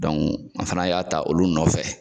an fana y'a ta olu nɔfɛ.